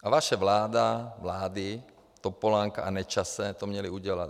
A vaše vláda - vlády Topolánka a Nečase to měly udělat.